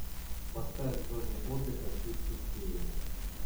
поставь в зоне отдыха чуть тусклее